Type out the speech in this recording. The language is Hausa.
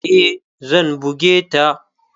E, zan buge ta.